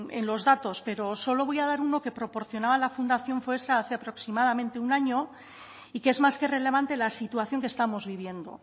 en los datos pero solo voy a dar uno que proporcionaba la fundación foessa hace aproximadamente un año y que es más que relevante la situación que estamos viviendo